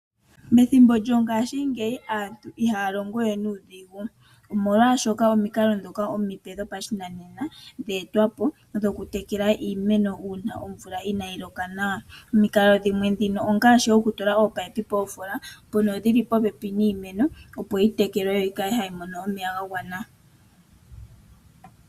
Methimbo lyongaashingeyi aantu ihaya longowe nuudhigu. Omolwaashoka omikalo ndhoka omipe dhopashinanena dhe etwapo. Dhoku tekela iimeno uuna omvula inaayiloka nawa . Omukalo dhimwe ndhino ongaashi okutula ominino moofola ndhono dhili popepi niimeno opo yi tekelwe yoyimone omeya ga gwana